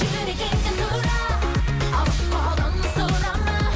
жүрегіңнен сұра сұрама